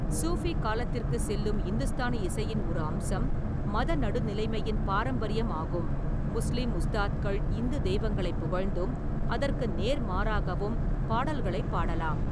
சூஃபி காலத்திற்குச் செல்லும் இந்துஸ்தானி இசையின் ஒரு அம்சம் மத நடுநிலைமையின் பாரம்பரியம் ஆகும்: முஸ்லீம் உஸ்தாத்கள் இந்து தெய்வங்களைப் புகழ்ந்தும், அதற்கு நேர்மாறாகவும் பாடல்களைப் பாடலாம்.